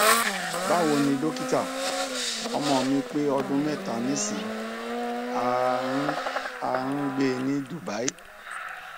bawoni dokita omo mi pe odun meta nisin a n a n gbe ni dubai